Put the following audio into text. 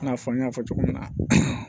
I n'a fɔ n y'a fɔ cogo min na